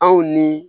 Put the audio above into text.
Anw ni